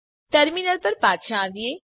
terminal પર પાછા આવીએ